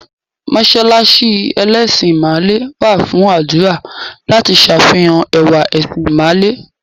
Mọ́ṣáláṣí ẹlẹ́sìn ìmàle wà fún àdúrà láti s'àfihàn ẹwà ẹ̀sìn ìmàle